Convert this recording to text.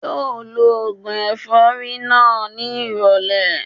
Yóò lo ògùn ẹ̀fọ́rí náà ní ìrọ̀lẹ́